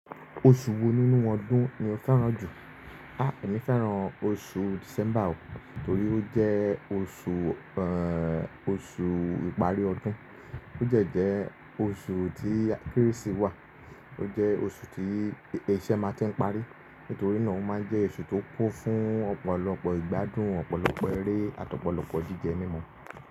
Oṣù wo nínú ọdún ni o fẹ́ràn jù? A! Èmi fẹ́ràn oṣù December o, torí ó jẹ́ oṣù, oṣù ìparí ọdún. Ó jẹ̀ jẹ́ oṣù tí Kérésì wà. Ó jẹ́ oṣù tí iṣẹ́ máa tí ń parí. Nítorí náà ó máa ń jẹ́ oṣù tó kún fún ọ̀pọ̀lọpọ̀ ìgbádùn, ọ̀pọ̀lọpọ̀ eré àti ọ̀pọ̀lọpọ̀ jíjẹ mímu.